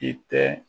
I tɛ